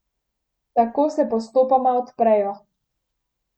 Tako se postopoma odprejo.